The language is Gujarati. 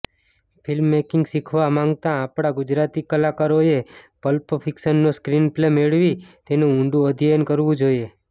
ફ્લ્મિમેકિંગ શીખવા માંગતા આપણા ગુજરાતી કલાકારોએ પલ્પ ફ્ક્શિનનો સ્ક્રીનપ્લે મેળવી તેનું ઊંડું અધ્યયન કરવું જોઈએ